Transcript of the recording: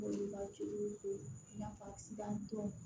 Nafa sitan tɔw